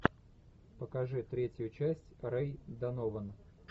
покажи третью часть рэй донован